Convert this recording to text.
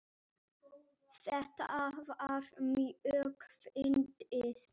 Þetta var mjög fyndið.